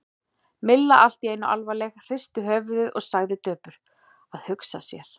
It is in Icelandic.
Milla allt í einu alvarleg, hristi höfuðið og sagði döpur: Að hugsa sér.